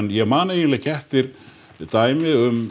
ég man ekki eftir dæmi um